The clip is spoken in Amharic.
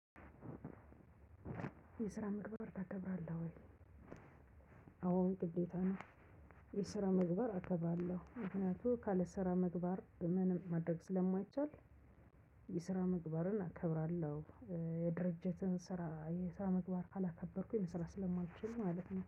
የስራ ምግባር ታከብራለህ ወይ? አዎ ግዴታ ነው። የስራ ምግባር አከብራለሁ ምክንያቱም ካለ ስራ ምግባር ምንም ማድረግ ስለማይቻል። የስራ ምግባርን እከብራለሁ። የድርጅትን ስራ የስራ ምግባር ካላከበርኩኝ ስራ ስለማልችል ማለት ነው